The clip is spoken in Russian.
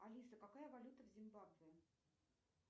алиса какая валюта в зимбабве